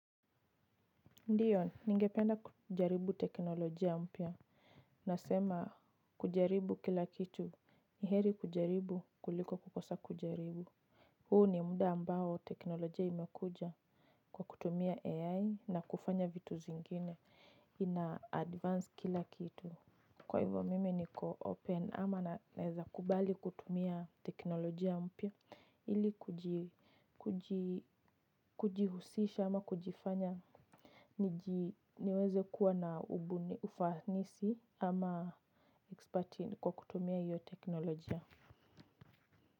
Ndiyo, ningependa kujaribu teknolojia mpya. Nasema kujaribu kila kitu. Niheri kujaribu kuliko kukosa kujaribu. Huu ni muda ambao teknolojia imekuja kwa kutumia AI na kufanya vitu zingine. Ina advance kila kitu. Kwa hivo mimi niko open ama naeza kubali kutumia teknolojia mpya. Ili kujihusisha ama kujifanya. Niweze kuwa na ufanisi ama exspert kwa kutumia iyo teknolojia.